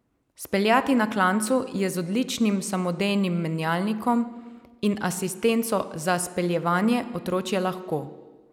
Speljati na klancu je z odličnim samodejnim menjalnikom in asistenco za speljevanje otročje lahko.